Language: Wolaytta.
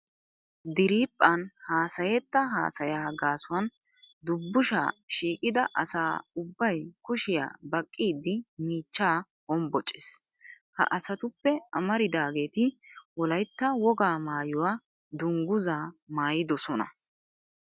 Diriiphphan haasayetta haasayaa gaasuwan dubbushaa shiiqida asa ubbay kushiya baqqiiddi miichchaa hombbocces. Ha asatuppe amaridaageeti Wolaytta wogaa maayuwa dungguzaa maayidosona.